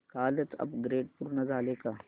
कालचं अपग्रेड पूर्ण झालंय का